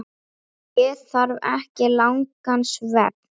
Ég þarf ekki langan svefn.